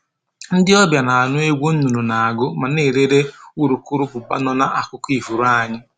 Ndị ọbịa na-anụ egwu nnụnụ na-agụ ma na-elere urukurụbụba nọ n'akụkụ ifuru anyị